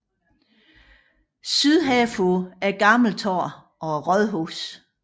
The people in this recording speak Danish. Syd herfor er Gammel Torv og rådhuset